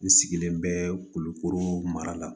N sigilen bɛ kulukoro mara la